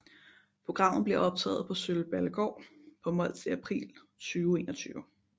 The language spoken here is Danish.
Programmet bliver optaget på Sølballegaard på Mols i april 2021